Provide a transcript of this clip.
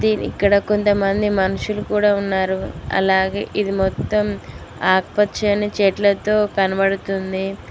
ఇక్కడ కొంతమంది మనుషులు కూడ ఉన్నారు అలాగే ఇది మొత్తం ఆకుపచ్చని చెట్లతో కనబడుతుంది.